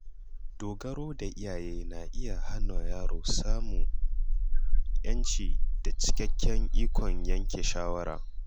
Dogaro da iyaye na iya hana yaro samun ‘yanci da cikakken ikon yanke shawara.